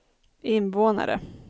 invånare